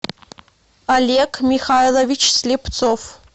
олег михайлович слепцов